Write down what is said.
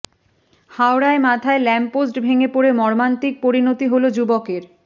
হাওড়ায় মাথায় lamp post ভেঙে পড়ে মর্মান্তিক পরিণতি হল যুবকের